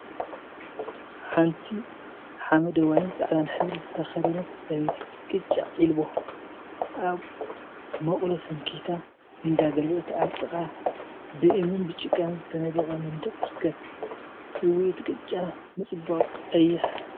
ሓንቲ ሓመደዋይን ፃዕዳን ሕብሪ ዝተከደነት ሰበይቲ ቅጫ ዒልቦ አብ መቅሎ ሰንኪታ እንዳገልበጠት አብ ጥቃ ብእምኒን ጭቃን ዝተነደቀ መንድቅ ትርከብ፡፡ እዋይ እቲ ቅጫ ምፅባቁ ቀይሕ!